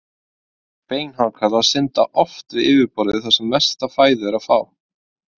Beinhákarlar synda oft við yfirborðið þar sem mesta fæðu er að fá.